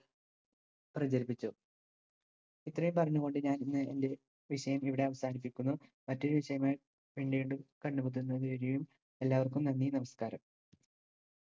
പ്രചരിപ്പിച്ചു. ഇത്രയും പറഞ്ഞു കൊണ്ട് ഞാൻ ഇന്ന് എന്റെ വിഷയം ഇവിടെ അവസാനിപ്പിക്കുന്നു. മറ്റൊരു വിഷയമായി പിന്നീട് കണ്ടുമുട്ടുന്നത് വരെയും എല്ലാവർക്കും നന്ദി നമസ്കാരം.